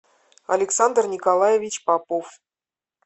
александр николаевич попов